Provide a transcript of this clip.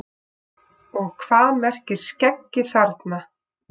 Og hvað merkir skeggi þarna?